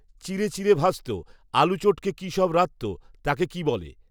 চিরে চিরে ভাজত. আলু চটকে কি সব রাঁধত, তাকে কি বলে